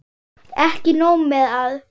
Ekki nóg með að